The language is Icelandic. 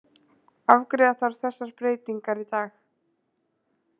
Afgreiða þarf þessar breytingar í dag